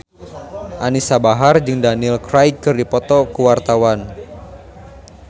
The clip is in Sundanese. Anisa Bahar jeung Daniel Craig keur dipoto ku wartawan